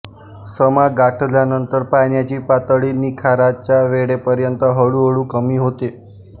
समा गाठल्यानंतर पाण्याची पातळी निखाराच्या वेळेपर्यंत हळूहळू कमी होते